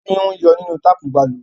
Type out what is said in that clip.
Omi ń yọ nínú tapu balùwẹ́